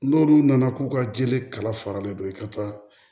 N'olu nana k'u ka jeli kala faralen don i ka taa